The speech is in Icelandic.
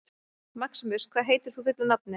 Maximus, hvað heitir þú fullu nafni?